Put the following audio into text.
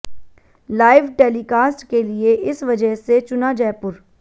live telecast के लिए इस वजह से चुना जयपुर